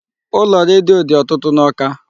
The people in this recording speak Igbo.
Ụlọ redio dị ọtụtụ n'Awka.